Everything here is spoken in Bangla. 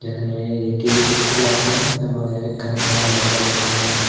এখানে এ একটি ইস্কুল আছে এবং এ এখানে খেলার মাঠ আছে যেখানে--